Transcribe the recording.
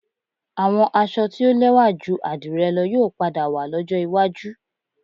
Àwọn aṣọ tí ó lẹ́wà ju àdìrẹ lọ yóò padà wà lọ́jọ́ iwájú